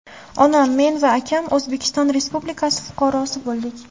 Onam, men va akam O‘zbekiston Respublikasi fuqarosi bo‘ldik”.